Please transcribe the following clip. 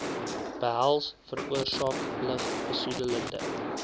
behels veroorsaak lugbesoedelende